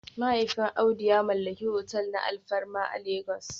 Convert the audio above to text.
Mahaifin Audu ya mallaki otel na alfarma a Legas